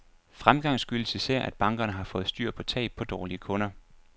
Fremgang skyldes især, at bankerne har fået styr på tab på dårlige kunder.